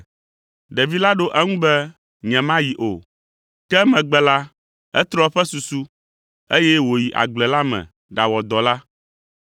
“Ɖevi la ɖo eŋu be, ‘Nyemayi o.’ Ke emegbe la, etrɔ eƒe susu, eye wòyi agble la me ɖawɔ dɔ la.